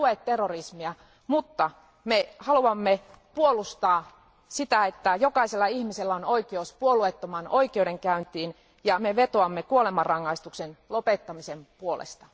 Emme tue terrorismia, mutta me haluamme puolustaa sitä, että jokaisella ihmisellä on oikeus puolueettomaan oikeudenkäyntiin ja me vetoamme kuolemanrangaistuksen lopettamisen puolesta.